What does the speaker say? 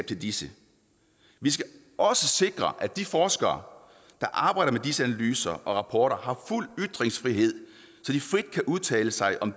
til disse vi skal også sikre at de forskere der arbejder med disse analyser og rapporter har fuld ytringsfrihed så de frit kan udtale sig om